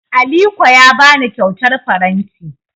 Aliko ya ba ni kyautar faranti.